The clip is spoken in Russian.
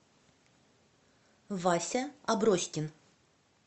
вася аброськин